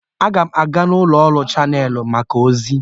Aga m aga n'ụlọ ọrụ Chanelụs maka ozi.